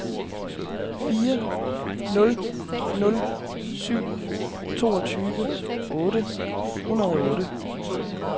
fire nul nul syv toogtyve otte hundrede og otte